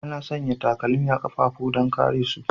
Ana sanya takalma a kafafu don kare su.